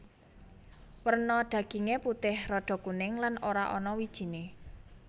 Werna daginge putih rada kuning lan ora ana wijine